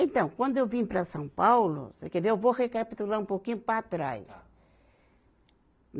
Então, quando eu vim para São Paulo, você quer ver, eu vou recapitular um pouquinho para trás. Tá.